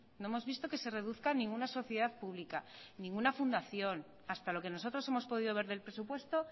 no hemos visto que se reduzca ninguna sociedad pública ninguna fundación hasta lo que nosotros hemos podido ver del presupuesto